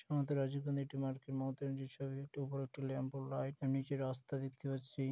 আমাদের রাজীব গান্ধীর একটি মার্কেট মমতা ব্যানার্জী ছবি উপরে একটি ল্যাম্প ও লাইট নীচে একটি রাস্তা দেখতে পাচ্ছি।